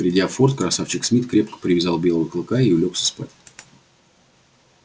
придя в форт красавчик смит крепко привязал белого клыка и улёгся спать